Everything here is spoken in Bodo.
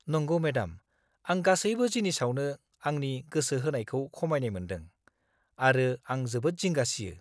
नंगौ मेडाम, आं गासैबो जिनिसआवनो आंनि गोसो होनायखौ खमायनाय मोन्दों, आरो आं जोबोद जिंगा सियो।